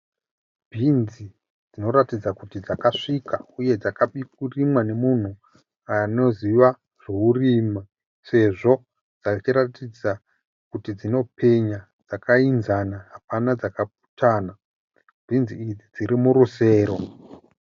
Bhinzi dzinoratidza kuti dzakasvika uye dzinoratidza kuti dzakarimwa nemunhu anoziva zvekurima sezvo dzichiratidza kuti dzinopenya, dzakaenzana, hapana dzakaputana, bhinzi idzi dziri murusero.